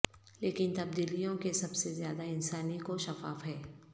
لیکن تبدیلیوں کے سب سے زیادہ انسانی کو شفاف ہے